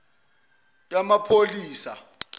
yamaphoyisa